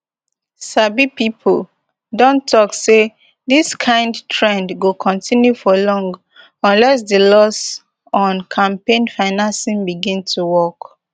sabi pipo don tok say dis kind trend go continue for long unless di laws on campaign financing begin to work